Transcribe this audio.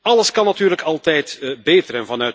Alles kan natuurlijk altijd beter.